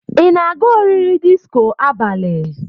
Ị na-aga oriri disko abalị